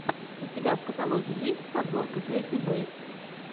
у тебя в каталоге есть подборка кэти бейтс